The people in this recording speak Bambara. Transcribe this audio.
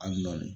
Ali nɔni